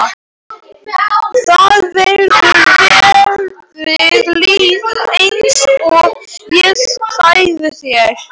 Það verður valið lið eins og ég sagði þér.